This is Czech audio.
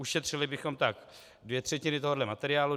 Ušetřili bychom tak dvě třetiny tohoto materiálu.